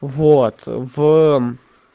вот в